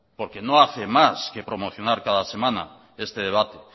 porque no hace más que promocionar cada semana este debate